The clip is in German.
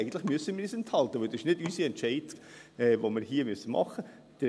Eigentlich müssen wir uns enthalten, denn das ist nicht unser Entscheid.